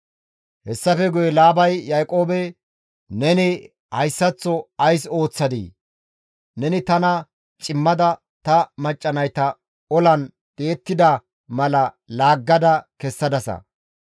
Hessafe guye Laabay Yaaqoobe, «Neni hayssaththo ays ooththadii? Neni tana cimmada ta macca nayta olan di7ettida mala laaggada kessadasa.